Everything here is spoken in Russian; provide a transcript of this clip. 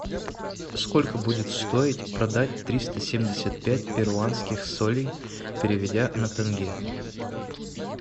сколько будет стоить продать триста семьдесят пять перуанских солей переведя на тенге